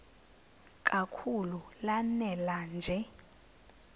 kakhulu lanela nje